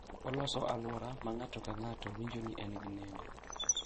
Oloso alwora ma ng’ato ka ng’ato winjo ni en gi nengo,